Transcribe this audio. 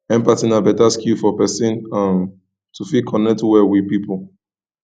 empathy na better skill for person um to fit connect well with pipo